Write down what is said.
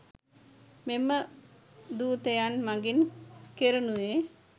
මෙම දූතයන් මගින් කෙරෙනුයේ